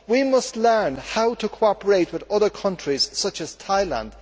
We must learn how to cooperate with other countries such as Thailand.